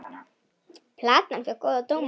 Platan fékk góða dóma.